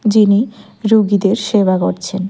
যিনি রুগীদের সেবা করছেন।